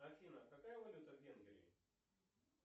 афина какая валюта в венгрии